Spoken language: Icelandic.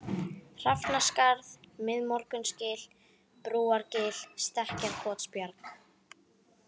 Hrafnaskarð, Miðmorgunsgil, Brúargil, Stekkjarkotsbjarg